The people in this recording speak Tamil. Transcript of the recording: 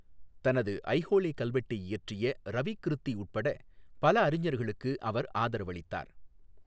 தனது ஐஹோலே கல்வெட்டை இயற்றிய ரவிக்கிருத்தி உட்பட பல அறிஞர்களுக்கு அவர் ஆதரவளித்தார்.